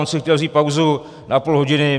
On si chtěl vzít pauzu na půl hodiny.